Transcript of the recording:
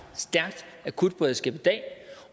stærkt akutberedskab i dag